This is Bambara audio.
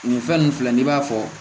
Nin fɛn nun filɛ nin b'a fɔ